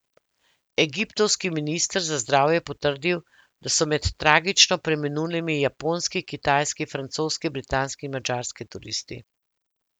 Egiptovski minister za zdravje je potrdil, da so med tragično preminulimi japonski, kitajski, francoski, britanski in madžarski turisti.